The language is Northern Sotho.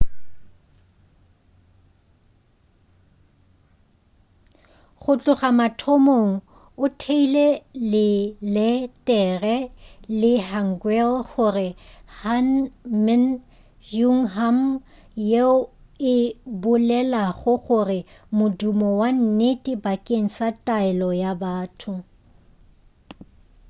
go tloga mathomong o theile leletere la hangeul gore ke hunmin jeongeum yeo e bolelago gore modumo wa nnete bakeng sa taelo ya batho